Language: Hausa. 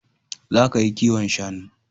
Za ka yi kiwon shanu